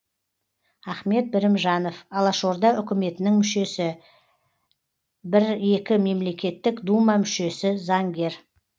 ахмет бірімжанов алашорда үкіметінің мүшесі бір екі мемлекеттік дума мүшесі заңгер